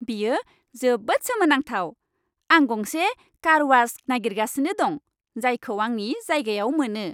बेयो जोबोद सोमोनांथाव! आं गंसे कारवाश नागिरगासिनो दं, जायखौ आंनि जायगायाव मोनो।